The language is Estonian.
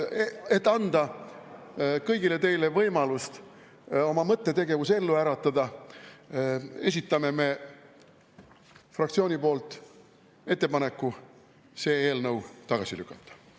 Et anda kõigile teile võimalus oma mõttetegevus ellu äratada, esitame me fraktsiooni poolt ettepaneku see eelnõu tagasi lükata.